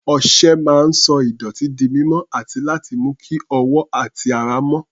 Ọṣẹ máa ń sọ ìdọ̀tí di mímọ́ àti láti mú kí ọwọ́ àti ara mọ́.